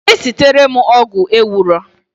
Jee sitere m ogwu ewuro